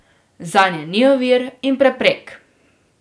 Zanje ni ovir in preprek.